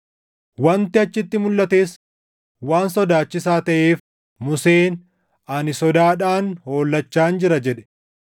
Wanti achitti mulʼates waan sodaachisaa taʼeef Museen, “Ani sodaadhaan hollachaan jira” + 12:21 \+xt KeD 9:19\+xt* jedhe.